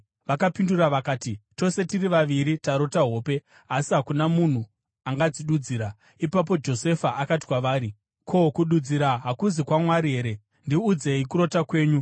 Vakapindura vakati, “Tose tiri vaviri tarota hope, asi hakuna munhu angadzidudzira.” Ipapo Josefa akati kwavari, “Ko, kududzira hakuzi kwaMwari here? Ndiudzei kurota kwenyu.”